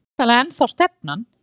Það er væntanlega ennþá stefnan?